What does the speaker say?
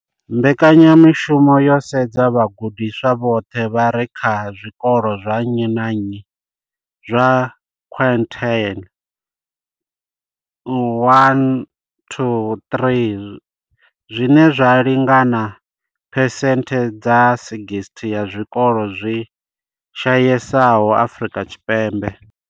Mbekanya mushumo yo sedza vhagudiswa vhoṱhe vha re kha zwikolo zwa nnyi na nnyi zwa quintile 1-3 zwine zwa lingana na phesenthe dza 60 ya zwikolo zwi shayesaho Afrika Tshipembe.